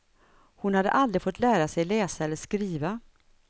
Hon hade aldrig fått lära sig läsa eller skriva.